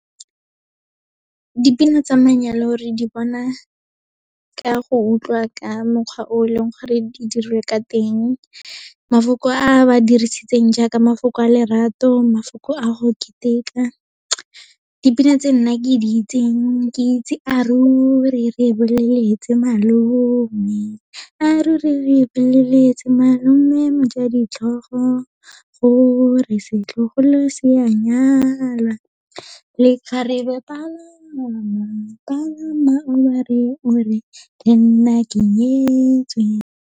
Dipina tsa manyalo re di bona ka go utlwa ka mokgwa o leng gore di dirilwe ka teng. Mafoko a ba dirisitseng jaaka mafoko a lerato, mafoko a go keteka. Dipina tse nna ke di itseng, ke itse a ruri le boleletse malome, a ruri le boleletse malome moja ditlhogo, gore setlogolo se a nyalwa. Lekgarebe palama, palama o ba re o re lenna ke nyetswe.